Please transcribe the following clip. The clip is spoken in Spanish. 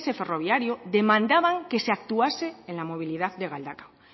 ferroviario demandaban que se actuase en la movilidad de galdakao